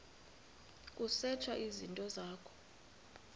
kusetshwe izinto zakho